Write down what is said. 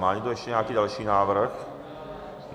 Má někdo ještě nějaký další návrh?